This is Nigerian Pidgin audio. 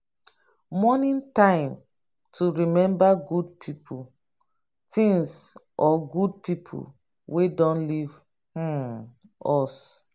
mourning na time to remember good things or good pipo wey don leave um us